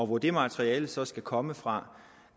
hvor det materiale så skal komme fra